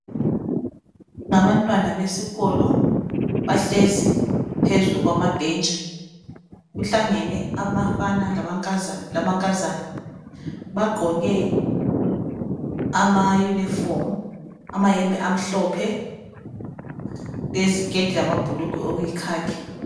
Ngabantwana besikolo bahlezi phezu kwamabhentshi kuhlangene abafana lamankazana bagqoke ama uniform amayembe amhlophe leziketi lamabhulugwe okuyikhakhi.